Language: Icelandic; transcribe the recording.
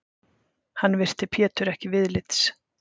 Hann virti Pétur ekki viðlits.